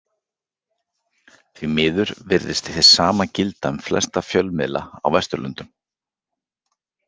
Því miður virðist hið sama gilda um flesta fjölmiðla á Vesturlöndum.